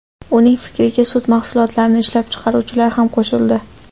Uning fikriga sut mahsulotlarini ishlab chiqaruvchilar ham qo‘shildi.